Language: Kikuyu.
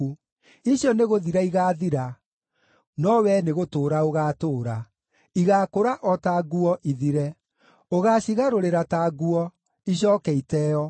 Icio nĩgũthira igaathira, no wee nĩgũtũũra ũgaatũũra; igaakũra o ta nguo, ithire. Ũgaacigarũrĩra ta nguo, icooke iteeo.